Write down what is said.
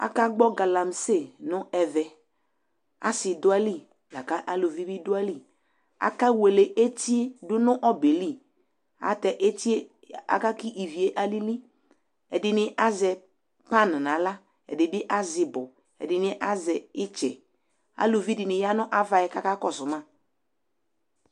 aka gbɔ galamse no ɛvɛ ase do ayili lako aluvi bi do ayili ake wele eti do no ɔbɛ li ɛlotɛ etie aka ko ivie alili ɛdi ni azɛ pan no ala ɛdi bi azɛ ibɔ ɛdini azɛ itsɛ aluvi di ni ya no ava yɛ ko aka kɔso ma